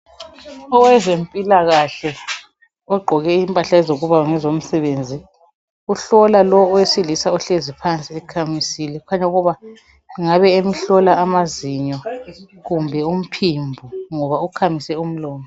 Owezempilakahle ogqoke impahle ezokuba ngezomsebenzi uhlola lo owesilisa ohlezi phansi ekhamisile kukhanya ukuba ungabe emhlola amazinyo kumbe umphimbo ngoba ukhamise umlomo.